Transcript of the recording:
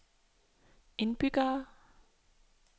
indbyggere